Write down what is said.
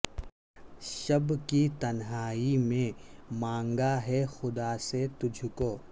شب کی تنہائی میں مانگا ہے خدا سے تجھ کو